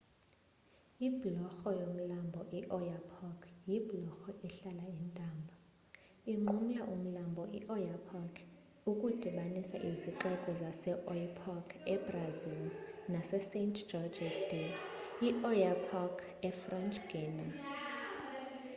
ibhulorho yomlambo ioyapock yibhulorho ehlala intambo inqumla umlambo ioyapock ukudibanisa izixeko zaseoiapoque ebrazil nasesaint-georges de l'oyapock efrench guiana